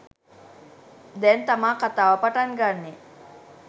දැන් තමා කතාව පටන් ගන්නෙ.